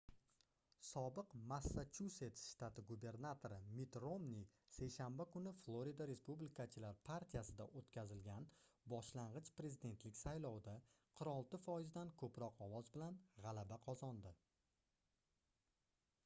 sobiq massachusets shtati gubernatori mitt romni seshanba kuni florida respublikachilar partiyasida oʻtkazilgan boshlangʻich prezidentlik saylovida 46 foizdan koʻproq ovoz bilan gʻalaba qozondi